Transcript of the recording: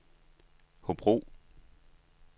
Hobro